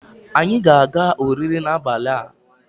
anyi ga-aga oriri n'abali a